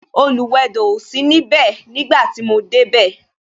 Oluwedo o sí ní ibè nígbà tí mo dé bẹ